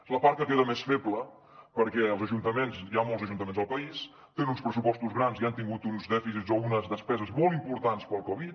és la part que queda més feble perquè hi ha molts ajuntaments del país que tenen uns pressupostos grans i han tingut uns dèficits o unes despeses molt importants per la covid